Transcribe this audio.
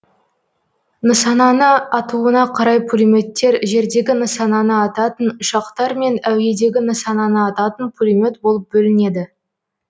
нысананы атуына қарай пулеметтер жердегі нысананы ататын ұшақтар мен әуедегі нысананы ататын пулемет болып бөлінеді